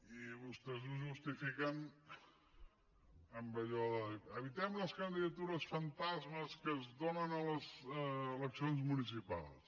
i vostès ho justifiquen amb allò de dir evitem les candidatures fantasmes que es donen a les eleccions municipals